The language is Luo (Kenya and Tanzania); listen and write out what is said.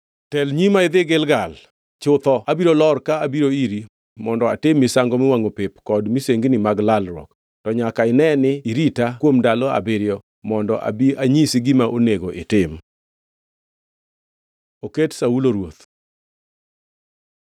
“Tel nyima idhi Gilgal. Chutho abiro lor ka abiro iri mondo atim misango miwangʼo pep kod misengini mag lalruok, to nyaka ine ni irita kuom ndalo abiriyo mondo abi anyisi gima onego itim.” Oket Saulo ruoth